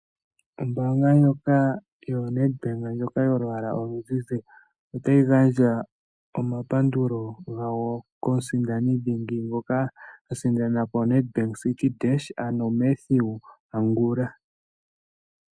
Ombaanga ndjoka yoNedbank yolwaala oluzizi otayi gandja omapandulo gawo komusindani dhingi ngoka a sindana po Nedbank Citi Dash, ano Mathew Angula.